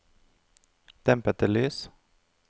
dempede lys